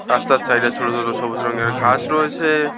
রাস্তার সাইডে ছোট ছোট সবুজ রংয়ের ঘাস রয়েছে।